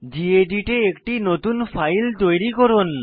gedit এ একটি নতুন ফাইল তৈরি করুন